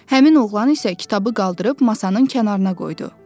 Həmin oğlan isə kitabı qaldırıb masanın kənarına qoydu.